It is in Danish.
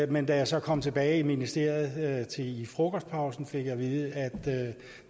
men da jeg så kom tilbage i ministeriet fik i frokostpausen at vide at